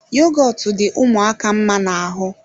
Yogọtu dị ụmụaka mma ná ahụ